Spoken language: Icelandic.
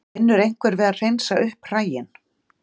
Vinnur einhver við að hreinsa upp hræin?